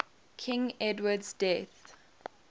king edward's death